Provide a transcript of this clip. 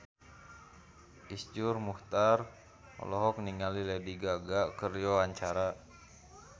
Iszur Muchtar olohok ningali Lady Gaga keur diwawancara